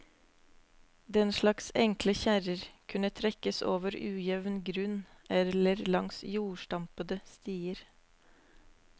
Den slags enkle kjerrer kunne trekkes over ujevn grunn eller langs jordstampede stier.